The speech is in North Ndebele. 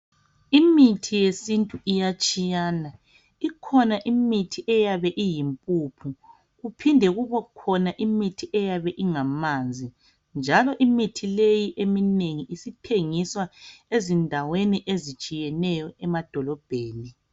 Imithi yesintu iyatshiyana. Ikhona imithi eyabe iyimpuphu, kuphinde kubokhona imithi eyabe ingamanzi, njalo imithi leyi eminengi isithengiswa ezindaweni ezitshiyeneyo emadolobheni.